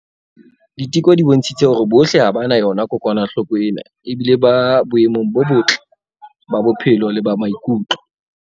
Diteko di bontshitse hore bohle ha ba na yona kokwanahloko ena ebile ba boemong bo botle ba bophelo le ba maikutlo.